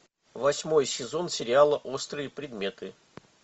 восьмой сезон сериала острые предметы